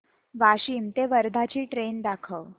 वाशिम ते वर्धा ची ट्रेन दाखव